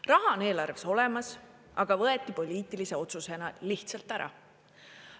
Raha on eelarves olemas, aga võeti poliitilise otsusena lihtsalt ära.